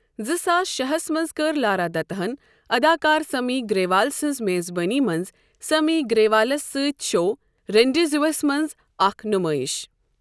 زٕ ساس شےٚ ہَس منٛز کٔر لارا دتہ ہَن اداکار سمی گریوال سنٛز میزبٲنی منٛز سیمی گریوالَس سۭتۍ شو رینڈیزوسَس منٛز اکھ نُمٲیش۔